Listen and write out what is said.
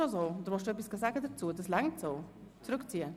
Möchten Sie etwas dazu sagen?